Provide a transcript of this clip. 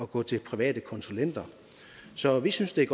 gå til private konsulenter så vi synes det er